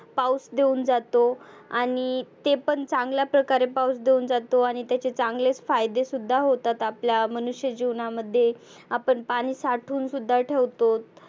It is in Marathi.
पाऊस देऊन जातो. आणि ते पण चांगल्या प्रकारे पाऊस देऊन जातो. आणि त्याचे चांगलेच फायदे सुद्धा होतात आपल्या मनुष्य जिवनामध्ये. आपण पाणि साठवुन सुद्धा ठेवतो.